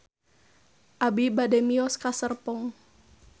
Abi bade mios ka Serpong